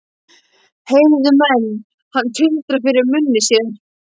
Heyrðu menn hann tuldra fyrir munni sér: